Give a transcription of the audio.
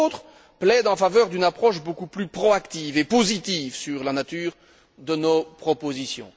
d'autres plaident en faveur d'une approche beaucoup plus proactive et positive sur la nature de nos propositions.